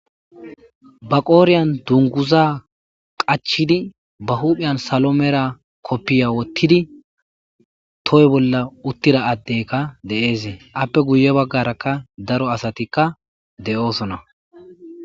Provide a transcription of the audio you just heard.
ba qooriyan dunguza qachidi ba huphiyan salo mera koppiya wottidi toy bolla uttida addeykka de7eesee appe guye baggarakka daro asatikka de7oosona